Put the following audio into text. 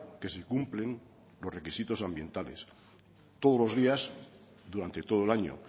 que se cumplen los requisitos ambientales todos los días durante todo el año